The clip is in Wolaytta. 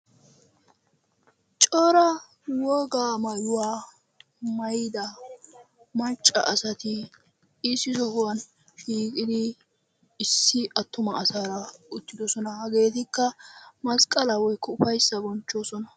cora wogaa maayuwa maayida macca asati issi sohuwan shiiqidi issi atuma asaara utidosona, hageetikka masqalaa woykko ufayssa bonchchoososna.